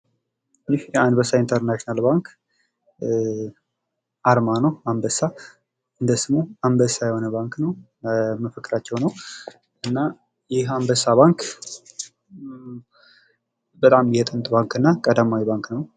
ይህ የአንበሳ ኢንተርናሽናል ባንክ አርማ ነው። አንበሳ እንደ ስሙ አንበሳ የሆነ ባንክ ነው ። መፎክራቸው ነው እና ይህ አንበሳ ባንክ በጣም የጥንት ባንክ እና ቀዳማዊ ባንክ ነው ።